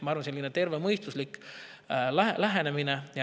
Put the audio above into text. Ma arvan, et see on tervemõistuslik lähenemine.